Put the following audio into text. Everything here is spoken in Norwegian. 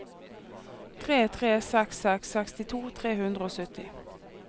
tre tre seks seks sekstito tre hundre og sytti